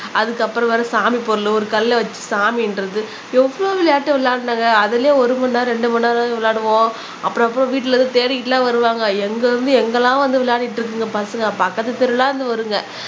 அதுக்கப்புறம் வேற சாமி பொருளு ஒரு கல்லை வச்சு சாமின்றது எவ்வளவு விளையாட்டு விளையாடுனாங்க அதிலேயே ஒரு மணி நேரம் இரண்டு மணி நேரம் விளையாடுவோம் அப்புறம் அப்ப வீட்டுல இருந்து தேடிக்கிட்டு எல்லாம் வருவாங்க எங்க இருந்து எங்கெல்லாம் வந்து விளையாடிட்டு இருக்குங்க பசங்க பக்கத்து தெருவுல இருந்து வருங்க.